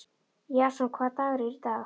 Jason, hvaða dagur er í dag?